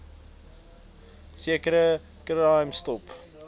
sekere crime stop